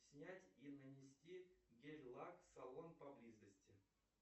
снять и нанести гель лак салон поблизости